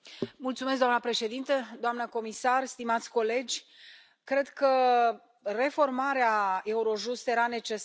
Doamna președintă, doamna comisar, stimați colegi, cred că reformarea Eurojust era necesară.